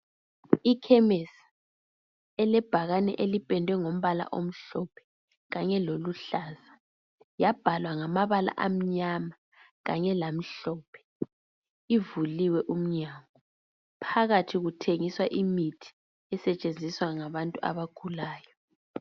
Ikhemesi elebhakane elipendwe ngombala omhlophe kanye loluhlaza, yabhalwa ngamabala amnyama kanye lamhlophe, ivuliwe umnyango. Phakathi kuthengiswa imithi. Isetshenziswa ngabantu abagulayo.